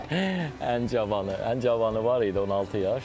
Ən cavanı, ən cavanı var idi 16 yaş.